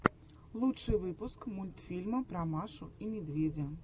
лучший выпуск мультфильма про машу и медведя